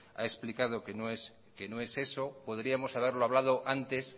ha explicado que no es eso podríamos haberlo hablado antes